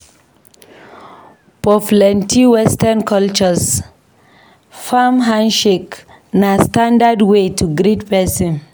For plenty Western cultures, firm handshake na standard way to greet pesin.